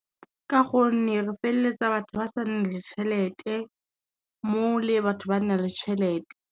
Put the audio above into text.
Ka gonne re feleletsa batho ba sa na le tšhelete, mo le batho ba na le tšhelete.